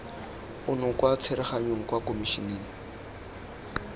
ono kwa tsereganyong kwa komišeneng